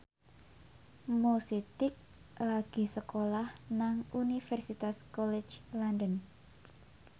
Mo Sidik lagi sekolah nang Universitas College London